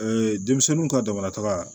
denmisɛnninw ka damanataga